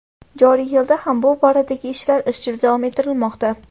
Joriy yilda ham bu boradagi ishlar izchil davom ettirilmoqda.